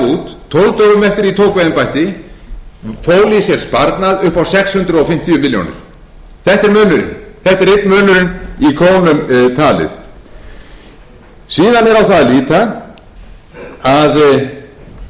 í sér sparnað upp á sex hundruð fimmtíu milljónir króna þetta er munurinn þetta er einn munurinn í krónum talið síðan er á það að líta að þar